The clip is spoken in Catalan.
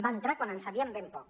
va entrar quan en sabíem ben poc